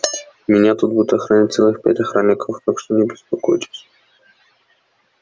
меня тут будут охранять целых пять охранников так что не беспокойтесь